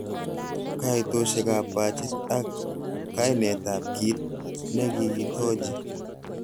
Koitosiekab bachit ak kainetab kit nekikitochi.